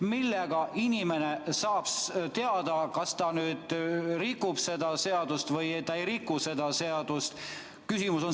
Mille põhjal inimene saab teada, kas ta rikub seda seadust või ta ei riku?